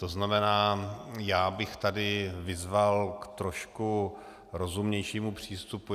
To znamená, já bych tady vyzval k trošku rozumnějšímu přístupu.